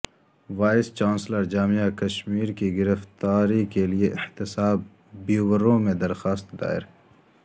voice chancellor جامعہ کشمیر کی گرفتاری کیلئے احتساب بیورو میں درخواست دائر